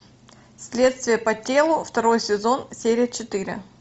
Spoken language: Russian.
следствие по телу второй сезон серия четыре